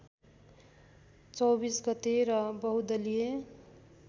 २४ गते र बहुदलीय